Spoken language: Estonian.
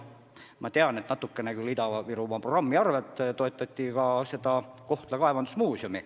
Ma tean, et natuke toetati Ida-Virumaa programmi raames ka Kohtla kaevandusmuuseumi.